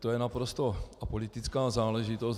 To je naprosto apolitická záležitost.